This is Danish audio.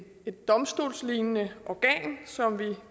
et domstolslignende organ som vi